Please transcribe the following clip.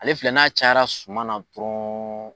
Ale filɛ n'a cayara suma na dɔrɔn